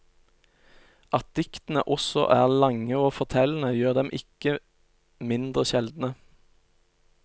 At diktene også er lange og fortellende, gjør dem ikke mindre sjeldne.